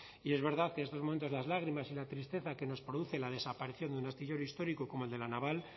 y es verdad que en estos momentos las lágrimas y la tristeza que nos produce la desaparición de un astillero histórico como el de la naval